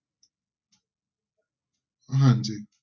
ਹਾਂਜੀ